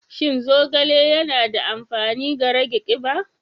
Shin zogale yana da amfani ga rage kiba?